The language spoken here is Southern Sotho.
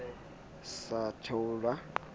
a sa tahwa o ne